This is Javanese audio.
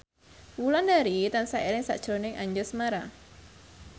Wulandari tansah eling sakjroning Anjasmara